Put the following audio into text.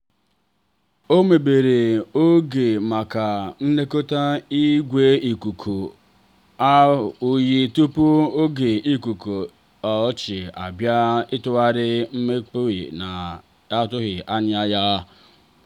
o mebere oge maka nlekọta ígwè ikuku oyi tupu oge ọkọchị abịa iji gbanari mmebi ana atughi anya ya.